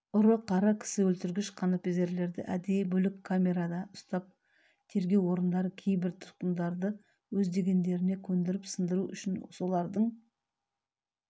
ұры-қары кісі өлтіргіш қанпезерлерді әдейі бөлек камерада ұстап тергеу орындары кейбір тұтқындарды өз дегендеріне көндіріп сындыру үшін солардың